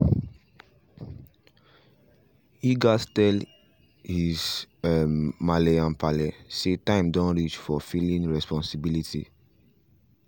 he gas tell tell his um malle and palle say time done reach for filling responsibility